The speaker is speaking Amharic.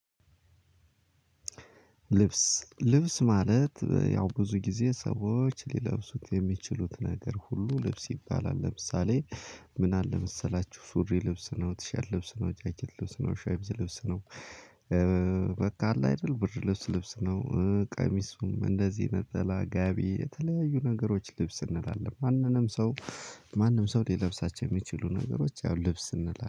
ልብስ፤ ልብስ ማለት ያው ብዙ ጊዜ ሰዎች ሊለብሱት የሚችሉት ነገር ሁሉ ልብስ ይባላል ለምሳሌ፥ ምን አለ መሰላችሁ፥ ሱሪ ልብስ ነው፣ ትሸርት ልብስ ነው፣ ጃከት ልብስ ነው፣ ሸምዝ ልብስ ነው፣ በቃ አለ አይደል ብርድ ልብስ ልብስ ነው ቀሚስ እንደዚህ ነጠላ ጋቢ የተለያዩ ነገሮች ልብስ እንላለን። ማንንም ሰው ማንም ሰው ሊለብሳቸው የሚችሉ ነገሮች ያው ልብስ እንላለን።